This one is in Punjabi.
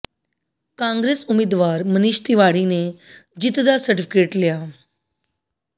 ਕਾਂਗਰਸ ਉਮੀਦਵਾਰ ਮਨੀਸ਼ ਤਿਵਾੜੀ ਨੇ ਜਿੱਤ ਦਾ ਸਰਟੀਫਿਕੇਟ ਲਿਆ